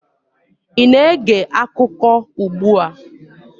ị na-ege akụkọ ugbu a?